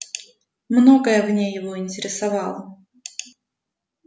многое в ней его интересовало